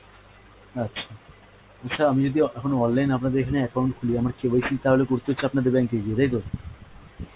আচ্ছা, আচ্ছা আমি যদি এখন online আপনাদের এখানে account খুলি তাহলে আমার KYC তাহলে করতে হচ্ছে আপনাদের bank এ গিয়ে তাইতো?